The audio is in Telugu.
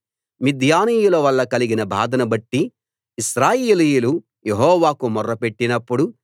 మిద్యానీయుల వల్ల కలిగిన బాధను బట్టి ఇశ్రాయేలీయులు యెహోవాకు మొర్ర పెట్టినప్పుడు